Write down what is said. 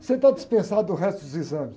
Você está dispensado do resto dos exames.